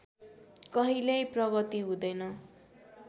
कहिल्यै प्रगति हुँदैन